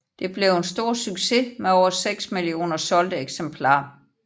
Det blev en stor succes med over 6 millioner solgte eksemplarer